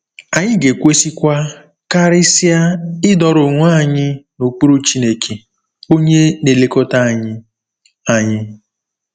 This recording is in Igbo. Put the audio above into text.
Anyị ga-ekwesịkwa, karịsịa, ‘ịdọrọ onwe anyị n’okpuru Chineke,’ onye na-elekọta anyị. anyị.